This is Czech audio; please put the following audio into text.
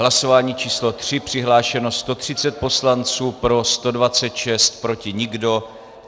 Hlasování číslo 3, přihlášeno 130 poslanců, pro 126, proti nikdo.